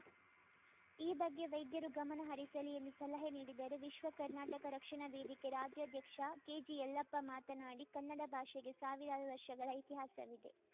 ಈ ಬಗ್ಗೆ ವೈದ್ಯರು ಗಮನ ಹರಿಸಲಿ ಎಂದು ಸಲಹೆ ನೀಡಿದರು ವಿಶ್ವ ಕರ್ನಾಟಕ ರಕ್ಷಣಾ ವೇದಿಕೆ ರಾಜ್ಯಾಧ್ಯಕ್ಷ ಕೆಜಿಯಲ್ಲಪ್ಪ ಮಾತನಾಡಿ ಕನ್ನಡ ಭಾಷೆಗೆ ಸಾವಿರಾರು ವರ್ಷಗಳ ಇತಿಹಾಸವಿದೆ